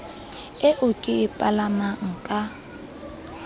eo ke e palamang ka